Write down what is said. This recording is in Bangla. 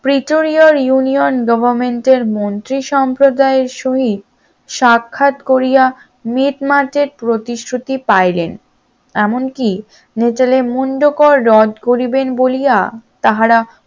প্রিটোরিয়াল union government এর মন্ত্রী সম্প্রদায়ের সহিত সাক্ষাৎ করিয়া মিটমাটের প্রতিশ্রুতি পাইলেন এমনকি মিটলের মুন্ড কর রদ করিবেন বলিয়া তাহারা